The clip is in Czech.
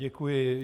Děkuji.